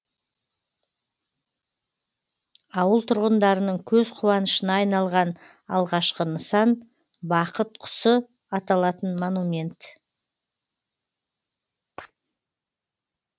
ауыл тұрғындарының көз қуанышына айналған алғашқы нысан бақыт құсы аталатын монумент